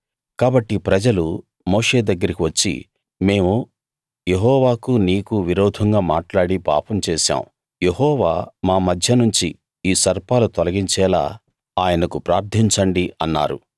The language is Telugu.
కాబట్టి ప్రజలు మోషే దగ్గరికి వచ్చి మేము యెహోవాకు నీకు విరోధంగా మాట్లాడి పాపం చేశాం యెహోవా మా మధ్యనుంచి ఈ సర్పాలు తొలగించేలా ఆయనకు ప్రార్ధించండి అన్నారు